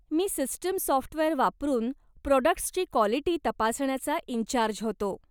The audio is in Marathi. मी सिस्टम साॅफ्टवेअर वापरून प्राॅडक्टस् ची क्वालिटी तपासण्याचा इन्चार्ज होतो.